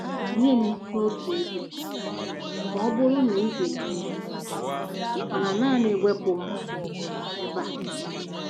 "Tinye m n'otu ebe ma ọ bụrụ na ị ga-eme ya, mana naanị wepụ m ebe a!"